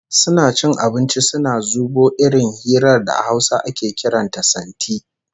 Suna cin abinci suna zubo irin hirar da a Hausa ake kiran ta "santi"